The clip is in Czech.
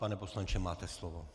Pane poslanče, máte slovo.